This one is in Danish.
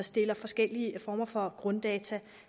stiller forskellige former for grunddata